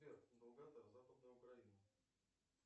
сбер долгота западной украины